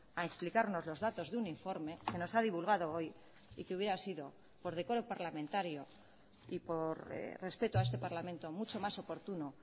a explicarnos los datos de un informe que nos ha divulgado hoy y que hubiera sido por decoro parlamentario y por respeto a este parlamento mucho más oportuno